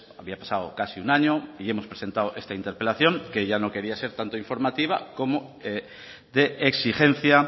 había pasado casi un año y hemos presentado esta interpelación que ya no quería ser tanto informativa como de exigencia